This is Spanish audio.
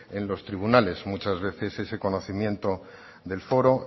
en los tribunales muchas veces ese conocimiento del foro